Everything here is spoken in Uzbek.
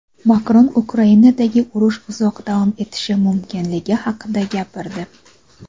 Makron Ukrainadagi urush uzoq davom etishi mumkinligi haqida gapirdi.